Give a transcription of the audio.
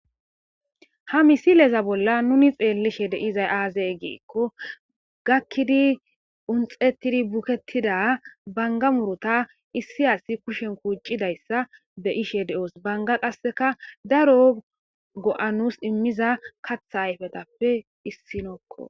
Ha misileza bolla nuni xeellishe de7izay aaze giikko gakkidi unxettidi bukettida bangga muruuta issi asi kushen kuuccidayssa be7ishe de7oos. bangga qasseka daro go7a nuus immiza katha ayfetappe issinokko.